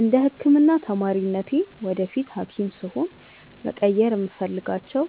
እንደ ህክምና ተማሪነቴ ወደፊት ሀኪም ስሆን መቀየር የምፈልጋቸው